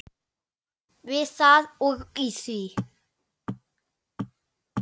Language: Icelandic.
Við það og í því.